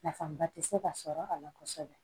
Nafaba tɛ se ka sɔrɔ a la kosɛbɛ